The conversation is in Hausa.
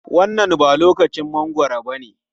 Wannan ba lokacin mangwaro bane.